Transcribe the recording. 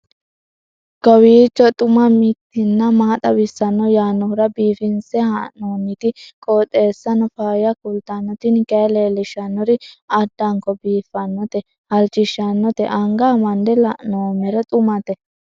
kowiicho xuma mtini maa xawissanno yaannohura biifinse haa'noonniti qooxeessano faayya kultanno tini kayi leellishshannori addanko biiffannote halchishshannote anga amande la'noommero xumate